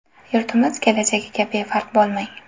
Yurtimiz kelajagiga befarq bo‘lmang!